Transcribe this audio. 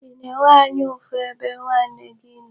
Ị na-enwe anya ụfụ ebe nwanne gị nọ?